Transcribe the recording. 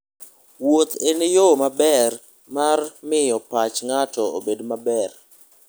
Wuoth en yo maber mar miyo pach ng'ato obed maber.